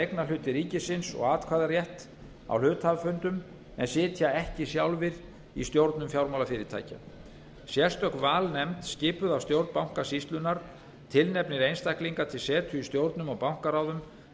eignarhluti ríkisins og atkvæðarétt á hluthafafundum en sitja ekki sjálfir í stjórnum fjármálafyrirtækja sérstök valnefnd skipuð af stjórn bankasýslunnar tilnefnir einstaklinga til setu í stjórnum og bankaráðum